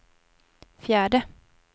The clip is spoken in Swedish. fjärde